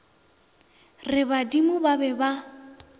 re badimo ba be ba